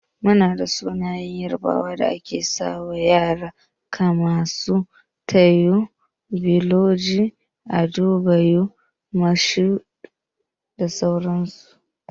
Muna da sunayen yarbawa da ake sawa ƴara kaman su, Taiwo, Bolaji, Adebayor Mashood da sauran su.